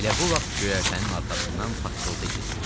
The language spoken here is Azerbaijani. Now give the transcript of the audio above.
Elə bu vaxt göyərtənin arxasından taqqıltı eşidildi.